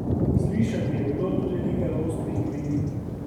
Slišati je bilo tudi nekaj ostrih kritik.